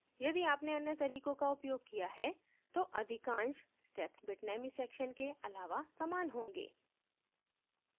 यदि आपने अन्य तरीकों का उपयोग किया है तो अधिकांश steps bitnami sections के अलावा समान होगें